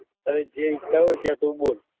તને જે ઈચ્છા હોય ત્યાં તું બોલ